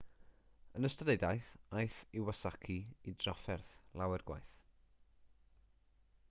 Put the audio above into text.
yn ystod ei daith aeth iwasaki i drafferth lawer gwaith